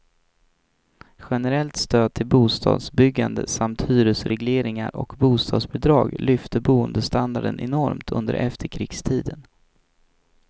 Generellt stöd till bostadsbyggande samt hyresregleringar och bostadsbidrag lyfte boendestandarden enormt under efterkrigstiden.